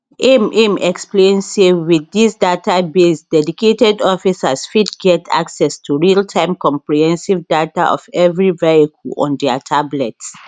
im im explain say wit dis database dedicated officers fit get access to realtime comprehensive data of evri vehicle on dia tablets